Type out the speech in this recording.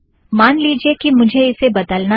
मान लीजिए कि मुझे इसे बदलना है